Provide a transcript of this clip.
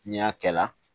N'i y'a kɛ la